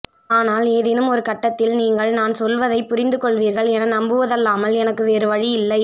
ஆனால் ஏதேனும் ஒரு கட்டத்தில் நீங்கள் நான் சொல்வதைப்புரிந்துகொள்வீர்கள் என நம்புவதல்லாமல் எனக்கு வேறுவழி இல்லை